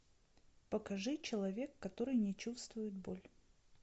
покажи человек который не чувствует боль